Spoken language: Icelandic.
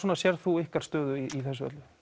sérð þú ykkar stöðu í þessu öllu